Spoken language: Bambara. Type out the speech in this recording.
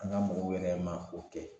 An ka mɔgɔw yɛrɛ ma o kɛ